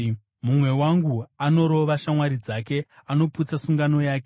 Mumwe wangu anorova shamwari dzake; anoputsa sungano yake.